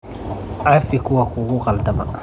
Cafi kuwa kugu qaldama.